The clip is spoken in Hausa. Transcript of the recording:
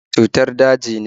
Yana da cutar daji ne?